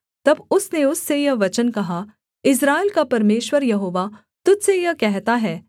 तब उसने उससे यह वचन कहा इस्राएल का परमेश्वर यहोवा तुझ से यह कहता है